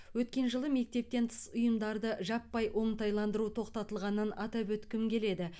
өткен жылы мектептен тыс ұйымдарды жаппай оңтайландыру тоқтатылғанын атап өткім келеді